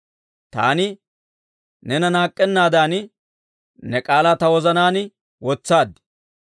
Taani neena naak'k'ennaadan ne k'aalaa ta wozanaan wotsaad.